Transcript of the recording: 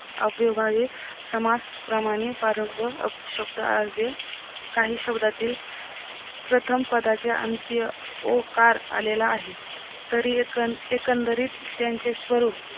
अव्ययभावे समास प्रमाणे प्रारंभ शब्द अव्यय काही शब्दातील प्रथम पदाचे अंत्य ओकार आलेला आहे तरी एकण एकंदरीत त्यांचे स्वरूप